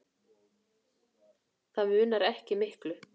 Það munaði ekki miklu.